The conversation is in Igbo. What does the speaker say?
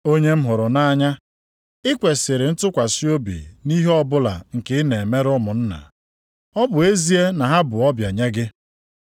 Onye m hụrụ nʼanya, i kwesiri ntụkwasị obi nʼihe ọbụla nke ị na-emere ụmụnna, ọ bụ ezie na ha bụ ọbịa nye gị.